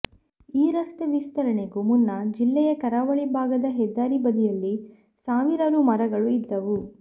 ಈ ರಸ್ತೆ ವಿಸ್ತರಣೆಗೂ ಮುನ್ನ ಜಿಲ್ಲೆಯ ಕರಾವಳಿ ಭಾಗದ ಹೆದ್ದಾರಿ ಬದಿಯಲ್ಲಿ ಸಾವಿರಾರು ಮರಗಳು ಇದ್ದವು